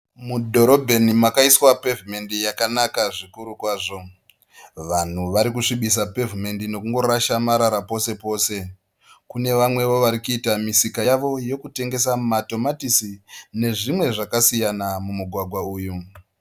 Mudhorobheni makaiswa pevhumendi yakanaka zvikuru kwazvo. Vanhu varikusvibisa pevhumendi nekungorasha marara posepose. Kune vamwewo varikuita misika yavo yokutengesa matomatisi nezvimwe zvakasiyana mumugwagwa uyu.